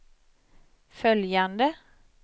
följande